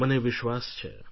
મને વિશ્વાસ છે